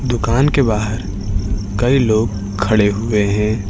दुकान के बाहर कई लोग खड़े हुए हैं।